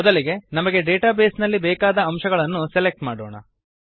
ಮೊದಲಿಗೆ ನಮಗೆ database ನಲ್ಲಿ ಬೇಕಾದ ಅಂಶಗಳನ್ನು ಸೆಲೆಕ್ಟ್ ಮಾಡಿಕೊಳ್ಳೋಣ